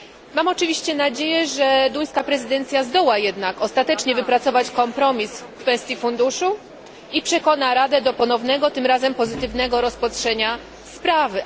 Mam oczywiście nadzieję, że duńska prezydencja zdoła jednak ostatecznie wypracować kompromis w kwestii funduszu i przekona Radę do ponownego, tym razem pozytywnego, rozpatrzenia sprawy.